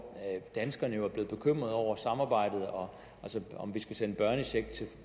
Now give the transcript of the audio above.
danskerne er blevet bekymrede over samarbejdet og om vi skal sende børnecheck til